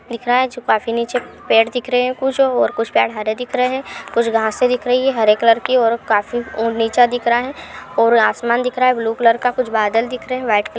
दिख रहा है जो काफी नीचे पैड दिख रहे हैं कुछ और कुछ पैड हरे दिख रहे हैं कुछ घास दिख रहीं हैं हरे कलर की और काफी ओ नीचा दिख रहा है और आसमान दिख रहा है ब्लू कलर का कुछ बादल दिख रहे हैं व्हाइट कलर --